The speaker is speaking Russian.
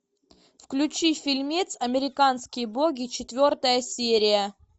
включи фильмец американские боги четвертая серия